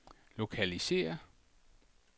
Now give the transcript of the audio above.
lokalisér